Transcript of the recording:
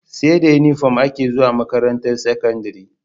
Seda inufom ake zuwa makarantar sakandari